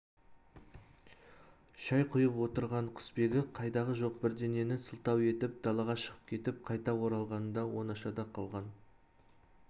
шай құйып отырған құсбегі қайдағы жоқ бірдеңені сылтау етіп далаға шығып кетіп қайта оралғанында оңашада қалған